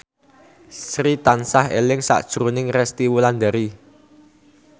Sri tansah eling sakjroning Resty Wulandari